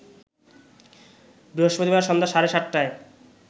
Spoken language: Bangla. বৃহস্পতিবার সন্ধ্যা সাড়ে ৭টায়